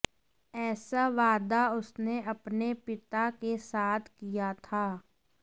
ऐसा वादा उसने अपने पिता के साथ किया था